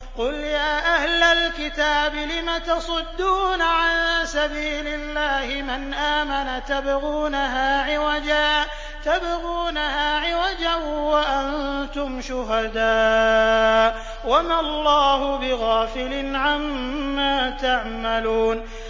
قُلْ يَا أَهْلَ الْكِتَابِ لِمَ تَصُدُّونَ عَن سَبِيلِ اللَّهِ مَنْ آمَنَ تَبْغُونَهَا عِوَجًا وَأَنتُمْ شُهَدَاءُ ۗ وَمَا اللَّهُ بِغَافِلٍ عَمَّا تَعْمَلُونَ